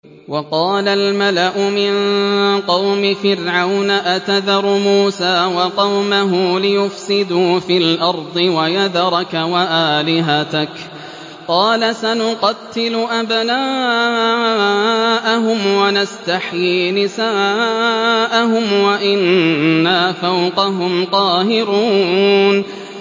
وَقَالَ الْمَلَأُ مِن قَوْمِ فِرْعَوْنَ أَتَذَرُ مُوسَىٰ وَقَوْمَهُ لِيُفْسِدُوا فِي الْأَرْضِ وَيَذَرَكَ وَآلِهَتَكَ ۚ قَالَ سَنُقَتِّلُ أَبْنَاءَهُمْ وَنَسْتَحْيِي نِسَاءَهُمْ وَإِنَّا فَوْقَهُمْ قَاهِرُونَ